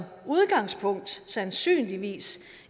udgangspunkt sandsynligvis